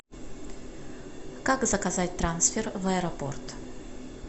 как заказать трансфер в аэропорт